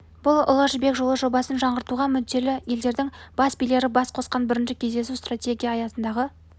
бұл ұлы жібек жолы жобасын жаңғыртуға мүдделі елдердің бас билері бас қосқан бірінші кездесу стратегия аясындағы